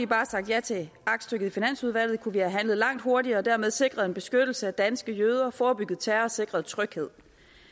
bare sagt ja til aktstykket i finansudvalget kunne vi have handlet langt hurtigere og dermed sikret en beskyttelse af danske jøder forebygget terror og sikret tryghed